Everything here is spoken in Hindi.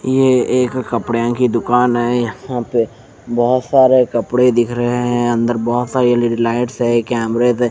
ये एक कपड़े की दुकान है यहाँ पर बहोत सारे कपड़े दिख रहे है अंदर बहोत सारे एलईडी लाइट्स है कैमरे दे--